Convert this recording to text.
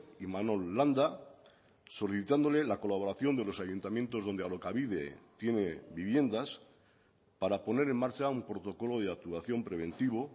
imanol landa solicitándole la colaboración de los ayuntamientos donde alokabide tiene viviendas para poner en marcha un protocolo de actuación preventivo